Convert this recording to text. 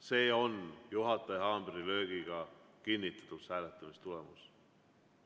See on juhataja haamrilöögiga kinnitatud hääletamistulemus.